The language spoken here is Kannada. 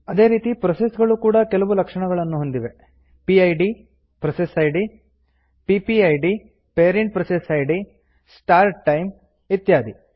ಅದೇ ರೀತಿ ಪ್ರೋಸೆಸ್ ಗಳೂ ಕೂಡಾ ಕೆಲವು ಲಕ್ಷಣಗಳನ್ನು ಹೊಂದಿವೆ ಪಿಡ್ ಪಿಪಿಐಡಿ ಸ್ಟಾರ್ಟ್ ಟೈಮ್ ಇತ್ಯಾದಿ